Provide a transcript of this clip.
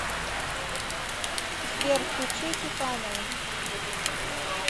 сбер включи тюханова